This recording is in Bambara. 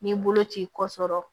Ni boloci kɔsɔrɔ